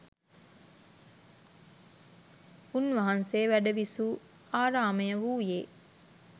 උන්වහන්සේ වැඩවිසූ ආරාමය වූයේ